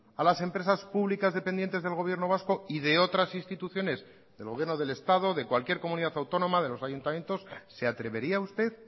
a las empresas públicas dependientes del gobierno vasco y de otras instituciones del gobierno del estado de cualquier comunidad autónoma de los ayuntamientos se atrevería usted